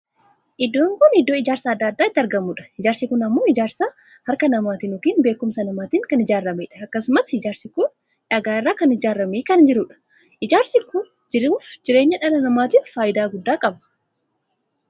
Iddoon kun iddoo ijaarsi addaa addaa itti argamudha. ijaarsi kun ammoo ijaarsa harka namaatiin ykn beekumsa namaatiin kan ijaarameedha. akkasumas ijaarsi kun dhaga'a irraa kan ijaaramee kan jirudha. ijaarsi kun jiruuf jireenya dhala namaatiif faayidaa guddaa qaba.